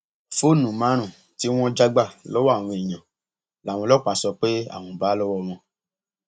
fóònù márùnún tí wọn já gbà lọwọ àwọn èèyàn làwọn ọlọpàá sọ pé àwọn bá lọwọ wọn